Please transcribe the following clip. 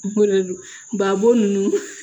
babu ninnu